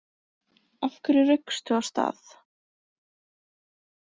Af hverju raukstu af stað?